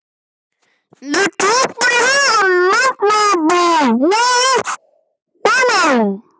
Mér datt bara í hug að nefna þetta.